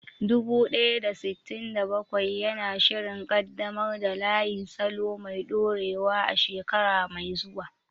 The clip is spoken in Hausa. Dubu ɗaya da sittin da bakwai yana shirin ƙaddamar da layin salo mai dorewa a shekara mai zuwa.